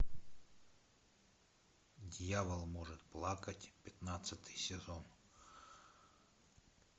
дьявол может плакать пятнадцатый сезон